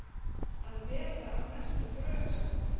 Að vera á næstu grösum